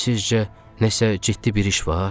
Sizcə nəsə ciddi bir iş var?